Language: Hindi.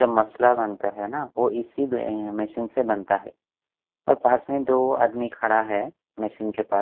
जब मसला बनता है ना वो इसी मसीन से बनता है और पास में दो आदमी खड़ा है मसीन के पास।